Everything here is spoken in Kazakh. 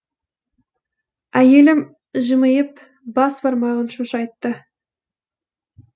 әйелім жымиып бас бармағын шошайтты